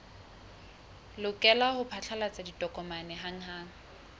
lokela ho phatlalatsa ditokomane hanghang